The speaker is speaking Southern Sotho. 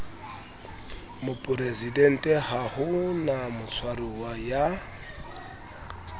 moporesidenteha ho na motshwaruwa ya